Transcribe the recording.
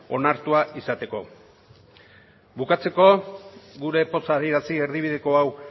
onartua izateko bukatzeko gure poza adierazi erdibideko hau